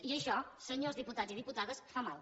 i això senyors diputats i diputades fa mal